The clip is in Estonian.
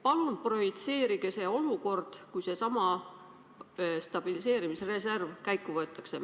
Palun projitseerige see olukord, kui seesama stabiliseerimisreserv käiku võetakse!